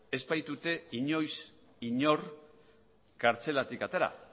ez baitute inoiz inor kartzelatik atera